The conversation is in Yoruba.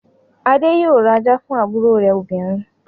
Adé yóò ra ajá fún àbúrò rẹ̀ obìnrin.